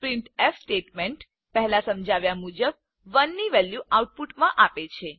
printf statement પહેલાં સમજાવ્યા મુજબ 1 ની વેલ્યુ આઉટપુટમાં આપે છે